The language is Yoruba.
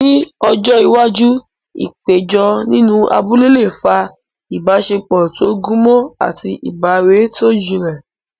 Ní ọjọ́ iwájú, ìpéjọ nínú abúlé lè fa ìbáṣepọ̀ tó gúnmọ́ àti ìbárẹ́ tó jinlẹ̀.